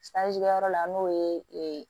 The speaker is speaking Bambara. yɔrɔ la n'o ye